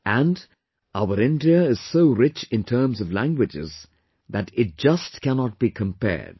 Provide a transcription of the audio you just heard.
And, our India is so rich in terms of languages that it just cannot be compared